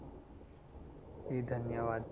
ધન્યવાદ